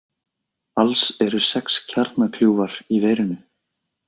Alls eru sex kjarnakljúfar í verinu